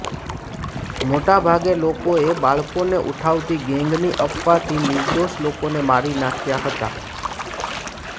મોટા ભાગે લોકોએ બાળકોને ઉઠાવતી ગેંગની અફવાથી નિર્દોષ લોકોને મારી નાંખ્યા હતા